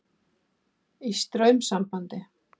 Í straumsambandi.